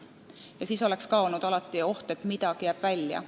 Ka siis oleks jäänud oht, et midagi jääb välja.